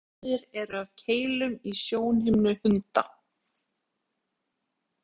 tvær mismunandi gerðir eru af keilum í sjónhimnu hunda